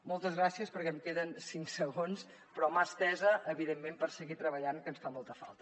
moltes gràcies perquè em queden cinc segons però mà estesa evidentment per seguir treballant que ens fa molta falta